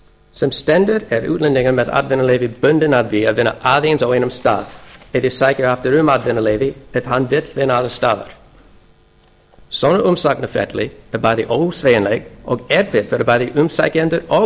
sem stendur er útlendingur með atvinnuleyfi bundinn af því að vinna aðeins á einum stað eða sækja aftur um atvinnuleyfi ef hann vill vinna annars staðar svona umsóknarferli er ósveigjanlegt og erfitt fyrir bæði umsækjendur og